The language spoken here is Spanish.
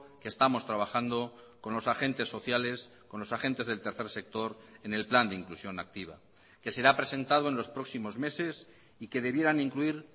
que estamos trabajando con los agentes sociales con los agentes del tercer sector en el plan de inclusión activa que será presentado en los próximos meses y que debieran incluir